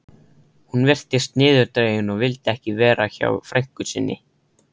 Hún virtist niðurdregin og vildi ekki vera hjá frænku sinni.